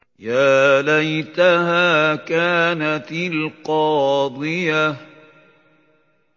يَا لَيْتَهَا كَانَتِ الْقَاضِيَةَ